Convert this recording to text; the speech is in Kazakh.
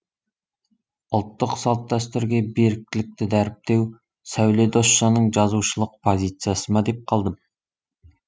ұлттық салт дәстүрге беріктілікті дәріптеу сәуле досжанның жазушылық позициясы ма деп қалдым